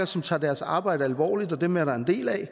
som tager deres arbejde alvorligt og dem er der en del af